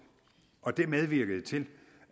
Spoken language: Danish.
og det medvirkede til